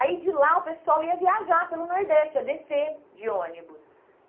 Aí, de lá, o pessoal ia viajar pelo Nordeste, ia descer de ônibus.